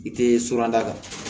I tɛ suranda kan